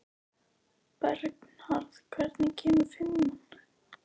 Bernharð, hvenær kemur fimman?